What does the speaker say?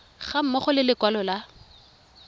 ga mmogo le lekwalo la